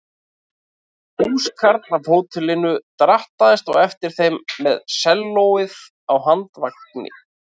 Húskarl af hótelinu drattaðist á eftir þeim með sellóið á handvagni.